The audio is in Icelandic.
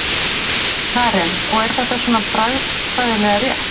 Karen: Og er þetta svona bragfræðilega rétt?